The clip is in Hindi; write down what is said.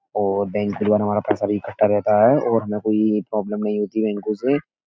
और बैंक के द्वारा हमारा पैसा भी इकट्ठा रहता है और हमें कोई प्रॉबलम नहीं होती बैंकों से --